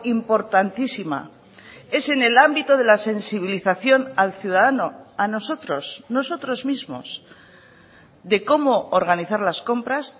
importantísima es en el ámbito de la sensibilización al ciudadano a nosotros nosotros mismos de cómo organizar las compras